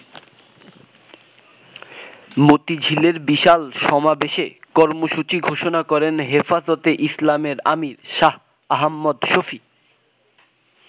মতিঝিলের বিশাল সমাবেশে কর্মসূচি ঘোষণা করেন হেফাজতে ইসলামের আমির শাহ আহম্মদ শফী।